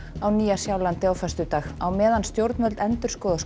á Nýja Sjálandi á föstudag á meðan stjórnvöld endurskoða